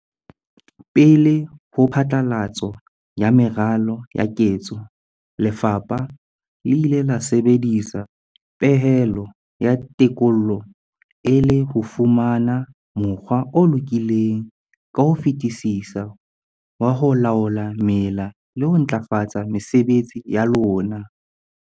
Pele ho phatlalatso ya meralo ya ketso, lefapha le ile la sebedisa pehelo ya tekolo e le ho fumana mokgwa o lokileng ka ho fetisisa wa ho laola mela le ho ntlafatsa mesebetsi ya lona.